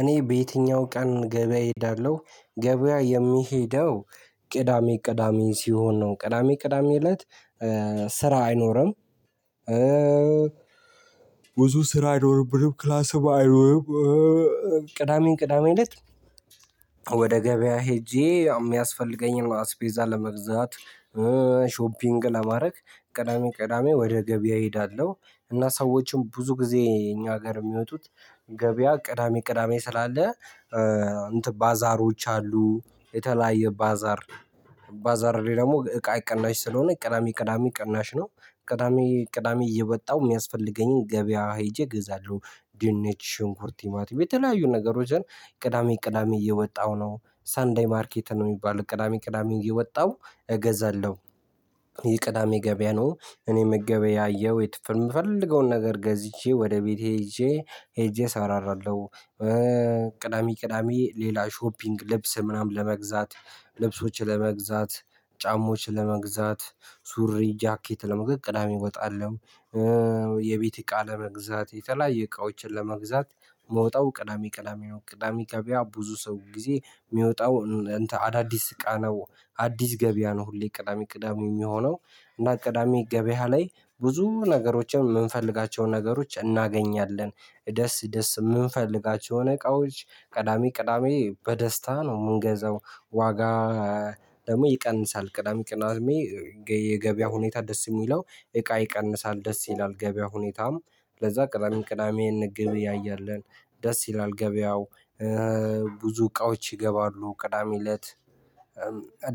እኔ በየትኛው ቀን ገበያ እሄዳለሁ ገበያ የምሄደው ቅዳሜ ቅዳሜ ሲሆን ነው ቅዳሜ ቅዳሜ እለት። ስራ አይኖርም ብዙ ስራ አይኖርብንም ክላስ። ቅዳሜ ቅዳሜ ለት ወደ ገበያ ሄጄ የሚያስፈልገኝን አስፔዛ ለመግዛት። ሾፒንግ ለማድረግ ቅዳሜ ቅዳሜ ወደ ገበያ እሄዳለሁ። እና ሰዎችም ብዙ ጊዜ እኛ ሀገር የሚወጡት ገበያ ቅዳሜ ቅዳሜ ስላለ። እንትን ባዛሮች አሉ የተለያየ ባዛር ባዛር ላይ ደግሞ እቃ ቅናሽ ስለሆነ ቅዳሜ ቅዳሜ ቅናሽ ነው። ቅዳሜ ቅዳሜ እየወጣሁ የሚያስፈልገኝን ገበያ ሄጄ እገዛለሁ ድንች ሽንኩርት ቲማቲም የተለያዩ ነገሮችን። ቅዳሜ ቅዳሜ እየወጣሁ ነው ሰንዳይ ማርኬት ነው የሚባለው ቅዳሜ ቅዳሜ እየወጣሁ እገዛለሁ የቅዳሜ ገበያ ነው። እኔ ምገበያያየሁ የትፍር የምፈልገውን ነገር ገዝቼ ወደ ቤቴ ሄጄ ሄጄ እሰራራለሁ። ቅዳሜ ቅዳሜ ሌላ ሾፒንግ ልብስ ምናምን ለመግዛት ልብሶችን ለመግዛት ጫሞዋችን ለመግዛት ሱሪ ጃኬት ለመግዛት ቅዳሜ እወጣለሁ። የቤት እቃ ለመግዛት የተለያየ እቃዎችን ለመግዛት ምወጣው ቅዳሜ ቅዳሜ ቅዳሜ ገበያ ብዙ ሰው ጊዜ የሚወጣው። አዳዲስ እቃ ነው አዲስ ገበያ ነው ሁሌ ቅዳሜ ቅዳሜ የሚሆነው። እና ቅዳሜ ገበያ ላይ ብዙ ነገሮችን የምንፈልጋቸውን ነገሮች እናገኛለን። ደስ ደስ የምንፈልጋቸው የእቃዎች ቅዳሜ ቅዳሜ በደስታ ነው የምንገዛው ዋጋ ደግሞ ይቀንሳል። ቅዳሜ ቅዳሜ የገበያ ሁኔታ ደስ የሚለው እቃ ይቀንሳል ደስ ይላል ገበያ ሁኔታም ለዛ ቅዳሜ ቅዳሜ እንገበያያለን። ደስ ይላል ገበያው ብዙ እቃዎች ይገባሉ ቅዳሜ እለት።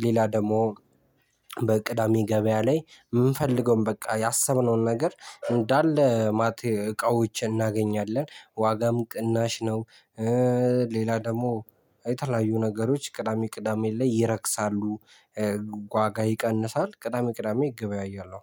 ሌላ ደግሞ በቅዳሜ ገበያ ላይ የምንፈልገውን በቃ ያሰብነውን ነገር እንዳለ እቃዎችን እናገኛለን ዋጋም ቅናሽ ነው። ሌላ ደግሞ የተለያዩ ነገሮች ቅዳሜ ቅዳሜ ላይ ይረክሳሉ። ዋጋ ይቀንሳል ቅዳሜ ቅዳሜ እገበያያለሁ